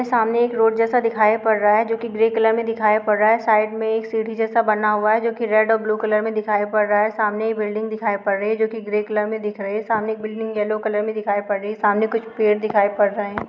सामने एक रोड जैसा दिखाई पड़ रहा है जो कि ग्रे कलर में दिखाई पड़ रहा है साइड में एक सीढ़ी जैसा बना हुआ है जो कि रेड और ब्लू कलर में दिखाई पड़ रहा है सामने एक बिल्डिंग दिखाई पड़ रही है जो कि ग्रे कलर में दिख रही है सामने एक बिल्डिंग येलो कलर में दिखाई पड़ रही है सामने कुछ पेड़ दिखाई पड़ रहे हैं।